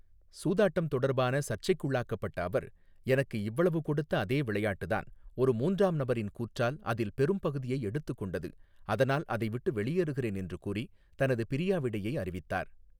சூதாட்டம் தொடர்பான சர்ச்சைக்குள்ளாக்கப்பட்ட அவர், 'எனக்கு இவ்வளவு கொடுத்த அதே விளையாட்டுதான், ஒரு மூன்றாம் நபரின் கூற்றால் அதில் பெரும் பகுதியை எடுத்துக் கொண்டது, அதனால் அதைவிட்டு வெளியேறுகிறேன்' என்று கூறி தனது பிரியாவிடையை அறிவித்தார்.